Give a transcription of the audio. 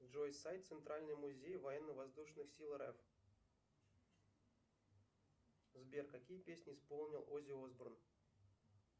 джой сайт центральный музей военно воздушных сил рф сбер какие песни исполнил оззи осборн